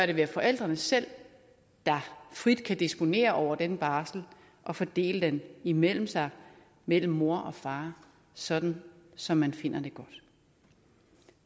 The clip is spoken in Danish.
det være forældrene selv der frit kan disponere over den barsel og fordele den imellem sig mellem mor og far sådan som man finder